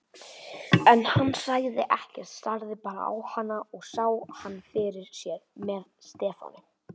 En hann sagði ekkert, starði bara á hana og sá hana fyrir sér með Stefáni.